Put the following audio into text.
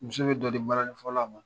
Muso bɛ dɔ di balanifɔla ma